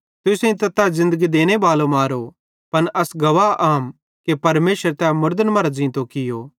तुसेईं त ज़िन्दगी देनेबालो मारो पन अस गवाह आम कि परमेशरे तै मुड़दन मरां ज़ींतो कियो